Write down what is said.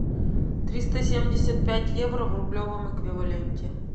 триста семьдесят пять евро в рублевом эквиваленте